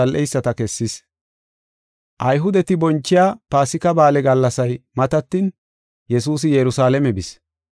Ayhudeti bonchiya Paasika Ba7aale gallasay matatin Yesuusi Yerusalaame bis.